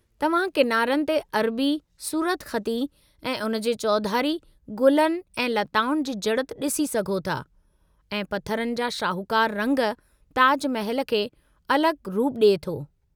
तव्हां किनारनि ते अरबी सूरतख़ती ऐं उन जे चौधारी गुलनि ऐं लताउनि जी जड़ित ॾिसी सघो था, ऐं पथरनि जा शाहूकार रंग ताज महल खे अलगि॒ रूप ॾिए थो।